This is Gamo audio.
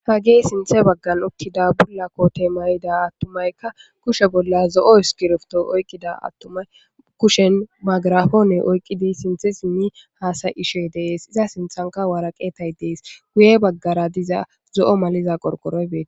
Ha gee sinthe baggal okkida bulla kote mayida attumayka kushe bolla zo'o iskirofto oyqqida attumay kushen magarafoone oyqqidi sinthe simmi haasay ishe dees iza sinthanka waraqeetay dees wuye baggara diza zo'o maliza qorqoroybee.